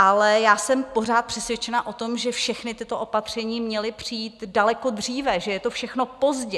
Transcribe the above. Ale já jsem pořád přesvědčena o tom, že všechna tato opatření měla přijít daleko dříve, že je to všechno pozdě.